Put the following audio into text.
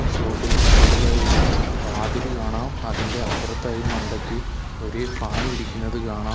Shop ഇന്റെ front ഇലായൊരു വാതില് കാണാം അതിന്റെ അപ്പുറത്തായി മണ്ടയ്ക്ക് ഒരു ഫാൻ ഇരിക്കുന്നത് കാണാം.